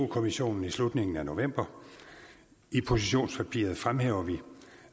kommissionen i slutningen af november i positionspapiret fremhæver vi